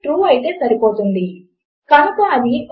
మీరు దీనిని నా ప్రాజెక్ట్ లలో ఒకదానిలో కనుగొనవచ్చు